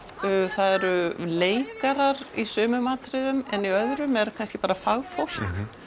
það eru leikarar í sumum atriðum en í öðrum er kannski bara fagfólk